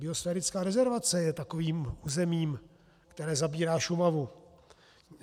Biosférická rezervace je takovým územím, které zabírá Šumavu.